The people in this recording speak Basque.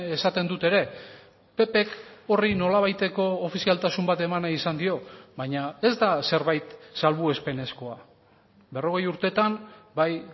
esaten dut ere ppk horri nolabaiteko ofizialtasun bat eman nahi izan dio baina ez da zerbait salbuespenezkoa berrogei urtetan bai